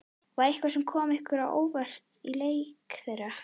Var eitthvað sem kom ykkur á óvart í leik þeirra?